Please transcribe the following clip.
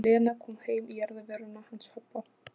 Lena kom heim í jarðarförina hans pabba.